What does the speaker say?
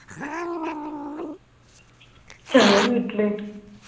ഞാ വീട്ടില്